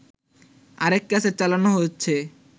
আরেক ক্যাসেট চালানো হচ্ছে